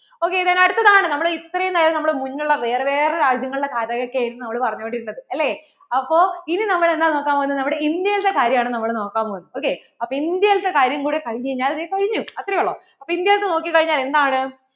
അങ്ങനെ എത്രയും നേരം മുന്നേ ഉള്ള വേറേ വേറേ രാജ്യങ്ങളുടെ കഥ ഒക്കെ ആണ് നമ്മൾ പറഞ്ഞു കൊണ്ടിരുന്നത് അല്ലേ അപ്പോൾ ഇനി നമ്മൾ എന്താ നോക്കാൻ പോകുന്നേ നമ്മടെ India യിലത്തെ കാര്യം ആണ് നമ്മൾ നോക്കാൻ പോകുന്നേ ok അപ്പോൾ India യിലത്തെ കാര്യം കൂടെ കഴിഞ്ഞു കഴിഞ്ഞാൽ ദേ കഴിഞ്ഞു അത്രേ ഉള്ളു